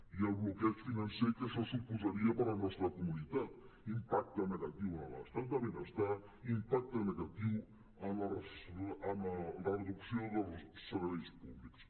i el bloqueig financer que això suposaria per a la nostra comunitat impacte negatiu en l’estat de benestar impacte negatiu en la reducció dels serveis públics